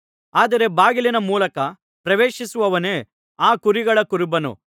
ಆದರೆ ಬಾಗಿಲಿನ ಮೂಲಕ ಪ್ರವೇಶಿಸುವವನೇ ಆ ಕುರಿಗಳ ಕುರುಬನು